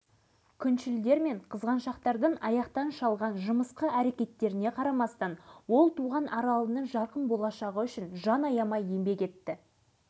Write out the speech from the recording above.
сөйтіп партиялық басқарудың жетпіс жыл бойғы сірескен тәртібін бұздым дегенмен жаңашыл еркін табиғатымды ерсі көргендер де